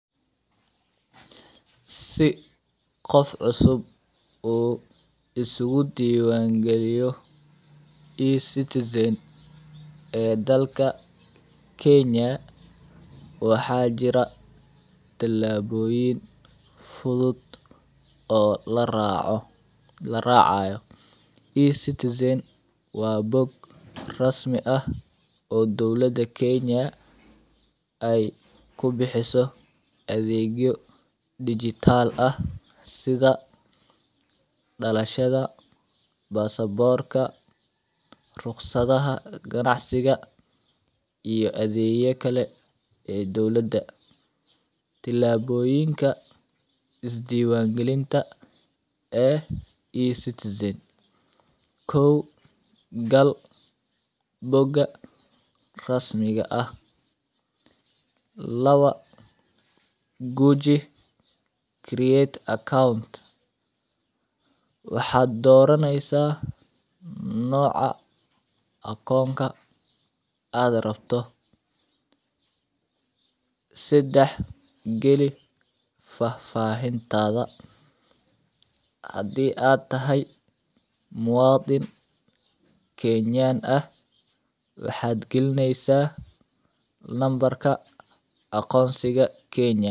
Si qof cusub uu isku diiwaangeliyo e-citizen ee dalka Kenya, waxaa jira tillaabooyin fudud oo la raaco, la raacayo. E-citizen waa bog rasmi ah oo dawlada Kenya ay ku bixiso adeegyo dhijitaal ah sida: dhalashada, baasboorka, ruqsadaha ganacsiga iyo adeega kale ee dawladda. Tillaaboyinka Isdiiwaangelinta ee e-citizen : 1. Gal bogga rasmiga ah. 2. Guji create account. Waxaad dooranaysaa nooca akoonka aad rabto. 3. Geli fafaahintaada. Hadii aad tahay muwadin Kenyan ah, waxaad gelineysaa nambarka akoontiga Kenya.